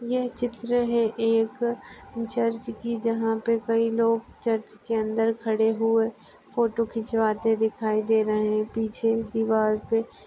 यह चित्र है। एक चर्च की जहा पे कई लोग चर्च के अंदर खड़े हुए फोटो खिचवाते दिखाई दे रहे है। पीछे दीवार पे --